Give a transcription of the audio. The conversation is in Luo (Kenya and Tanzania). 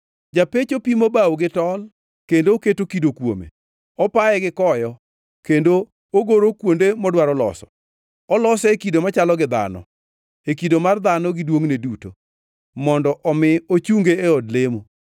Japecho pimo bao gi tol kendo oketo kido kuome; opaye gi koyo; kendo ogoro kuonde modwaro loso. Olose e kido machalo gi dhano, e kido mar dhano gi duongʼne duto, mondo omi ochunge e od lemo.